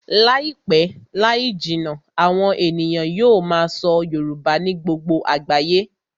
Láìpẹ́ láì jìnnà, àwọn ènìyàn yóò máa sọ Yorùbá ní gbogbo àgbáyé